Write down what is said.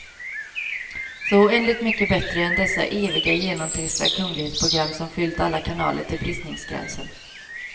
Så oändligt mycket bättre än dessa eviga, genomtrista kunglighetsprogram som fyllt alla kanaler till bristningsgränsen.